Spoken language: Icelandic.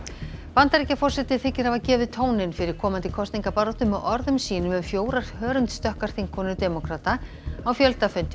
Bandaríkjaforseti þykir hafa gefið tóninn fyrir komandi kosningabaráttu með orðum sínum um fjórar þingkonur demókrata á